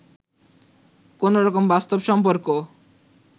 কোনো রকম বাস্তব সম্পর্ক